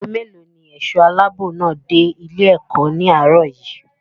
Ago mélòó ní ẹ̀ṣọ́ aláàbò náà dé ilé-ẹ̀kọ́ ní àárọ̀ yìí?